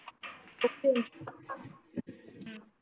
अच्छा